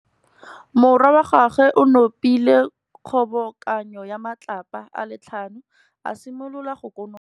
Morwa wa gagwe o nopile kgobokanô ya matlapa a le tlhano, a simolola go konopa.